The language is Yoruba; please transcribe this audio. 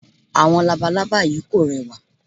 Àwọn labalábá yí kò rẹwà.